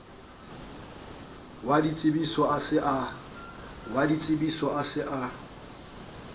wa ditsebiso a se a